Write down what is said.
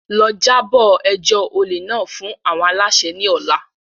Lọ, jabo ẹjọ ole náà fun awọn alaṣẹ ni ọla!